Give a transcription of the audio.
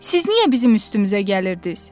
Siz niyə bizim üstümüzə gəlirdiniz?